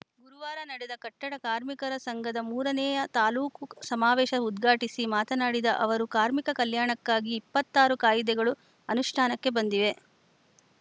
ಗುರುವಾರ ನಡೆದ ಕಟ್ಟಡ ಕಾರ್ಮಿಕರ ಸಂಘದ ಮೂರನೆಯ ತಾಲೂಕು ಸಮಾವೇಶ ಉದ್ಘಾಟಿಸಿ ಮಾತನಾಡಿದ ಅವರು ಕಾರ್ಮಿಕ ಕಲ್ಯಾಣಕ್ಕಾಗಿ ಇಪ್ಪತ್ತ್ ಆರು ಕಾಯಿದೆಗಳು ಅನುಷ್ಠಾನಕ್ಕೆ ಬಂದಿವೆ